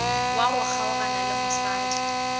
wa go kgaogana le mosadi